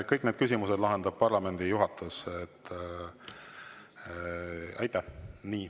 Kõik need küsimused lahendab parlamendi juhatus.